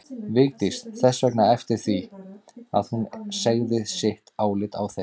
Vigdís þess vegna eftir því að hún segði sitt álit á þeim.